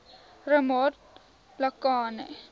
ramatlakane